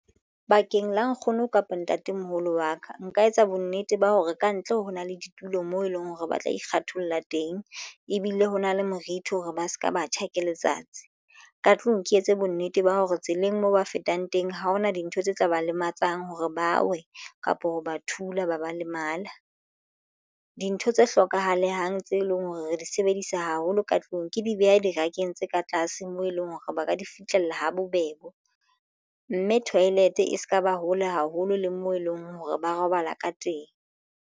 Bakeng la nkgono kapa ntatemoholo wa ka nka etsa bonnete ba hore kantle ho na le ditulo moo eleng hore ba tla ikgatholla teng ebile ho na le morithi hore ba se ka batjha ke letsatsi ka tlung ke etse bonnete ba hore tseleng moo ba fetang teng ha hona dintho tse tla ba lematsang hore bawe kapo ho ba thula ba ba lemala dintho tse hlokahalang tseo e leng hore re di sebedisa haholo ka tlung ke di behe dibakeng tse ka tlase moo e leng hore ba ka di fitlhela ha bobebe mme toilet e se ka ba hole haholo le mo e leng hore ba robala ka teng.